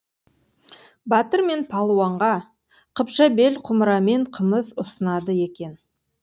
батыр мен палуанға қыпша бел құмырамен қымыз ұсынады екен